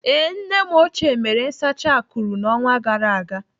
Ee, nne m ochie mere nsacha akụrụ n'ọnwa gara aga.